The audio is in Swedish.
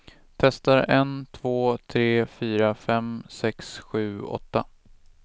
Testar en två tre fyra fem sex sju åtta.